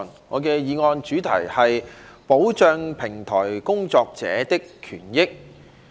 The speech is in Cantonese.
我的議案題目是"保障平台工作者的權益"。